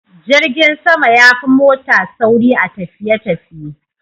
Jirgin sama yafi mota sauri a tafiye tafiye